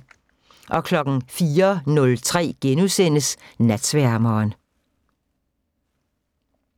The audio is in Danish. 04:03: Natsværmeren *